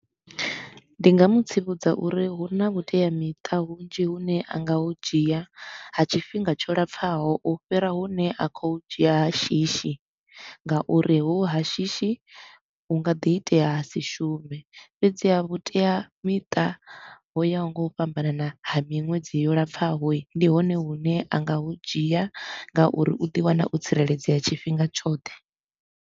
Ndi nga mu tsivhudza uri huna vhuteamiṱa vhunzhi hune a nga hu dzhia ha tshifhinga tsho lapfaho u fhira hune a kho hu dzhia ha shishi ngauri hohu ha shishi hu nga ḓi itea ha si shume, fhedziha vhuteamiṱa ho ya ho nga u fhambanana ha miṅwedzi yo lapfaho hii, ndi hone hune a nga hu dzhia ngauri u ḓi wana o tsireledzea tshifhinga tshoṱhe.